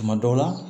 Tuma dɔw la